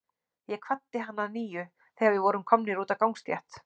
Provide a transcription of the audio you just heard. Ég kvaddi hann að nýju, þegar við vorum komnir út á gangstétt.